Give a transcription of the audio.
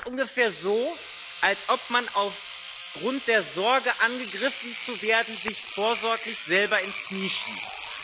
Das ist ungefähr so, als ob man aufgrund der Sorge, angegriffen zu werden, sich vorsorglich selber ins Knie schießt.